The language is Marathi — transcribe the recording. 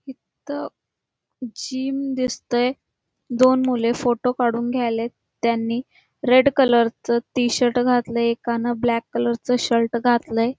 इथ जिम दिसतय दोन मुले फोटो काढून घ्यायलेत त्यांनी रेड कलर च टी शर्ट घातलय एकान ब्लॅक कलर च टी शर्ट घातलय|